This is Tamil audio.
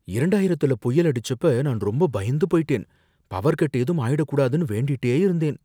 இரண்டாயிரத்துல புயல் அடிச்சப்ப நான் ரொம்ப பயந்து போயிட்டேன், பவர் கட் ஏதும் ஆயிடக்கூடாதுன்னு வேண்டிட்டே இருந்தேன்